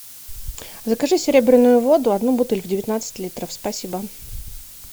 закажи серебряную воду одну бутыль девятнадцать литров спасибо